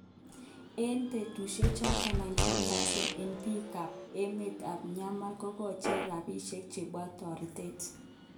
En betushe choton,91% eng bik kap emet ab Myanmar kokocher rapishek chebo toretet.